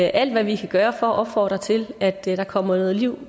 alt hvad vi kan gøre for at opfordre til at der kommer liv